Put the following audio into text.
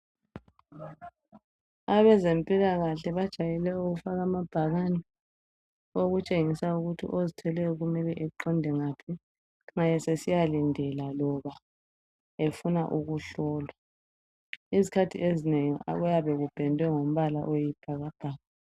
Abezempilakahle bajayele ukufaka amabhakani okutshengisa ukuthi ozithweleyo kumele aqonde ngaphi nxa esesiyalindela loba efuna uhlolwa isikhathi ezinengi uyabe upendwe ngombala oyisibhakabhaka